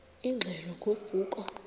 ingxelo ngo vuko